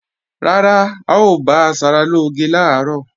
Rárá, a ò bá asaralóge làárọ̀